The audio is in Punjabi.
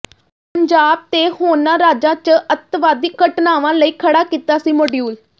ਪੰਜਾਬ ਤੇ ਹੋਰਨਾਂ ਰਾਜਾਂ ਚ ਅੱਤਵਾਦੀ ਘਟਨਾਵਾਂ ਲਈ ਖੜਾ ਕੀਤਾ ਸੀ ਮੋਡਿਊਲ